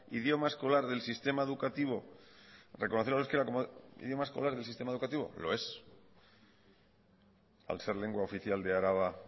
idioma escolar del sistema educativo lo es al ser lengua oficial de araba